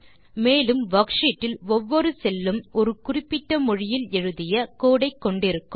மேலும் வர்க்ஷீட் இல் ஒவ்வொரு செல் உம் ஒரு குறிப்பிட்ட மொழியில் எழுதிய கோடு ஐ கொண்டிருக்கலாம்